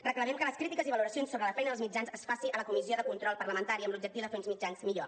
reclamem les crítiques i valoracions sobre la feina dels mitjans es faci a la comissió de control parlamentària amb l’objectiu de fer uns mitjans millor